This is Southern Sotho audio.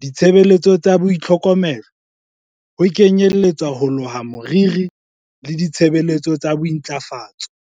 Ditshebeletso tsa boitlhokomelo, ho kenyeletswa ho loha moriri le ditshe-beletso tsa bointlafatso.